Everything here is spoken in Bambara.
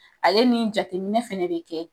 A ye nin jateminɛ fɛnɛ de kɛ.